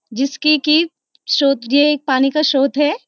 जिसकी की स्रोत यह एक पानी का स्रोत है।